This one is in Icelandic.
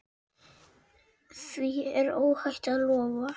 Því er óhætt að lofa.